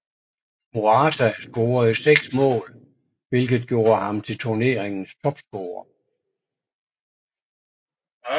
Morata scorede seks mål hvilket gjorde ham til turneringens topscorer